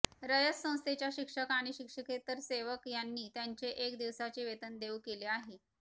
रयत संस्थेच्या शिक्षक आणि शिक्षकेतर सेवक यांनी त्यांचे एक दिवसाचे वेतन देऊ केले आहे